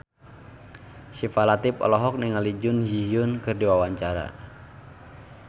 Syifa Latief olohok ningali Jun Ji Hyun keur diwawancara